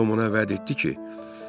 Tom ona vəd etdi ki: